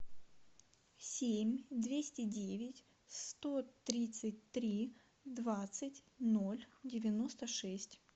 семь двести девять сто тридцать три двадцать ноль девяносто шесть